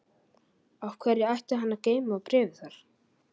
Af hverju ætti hann að geyma bréfið þar?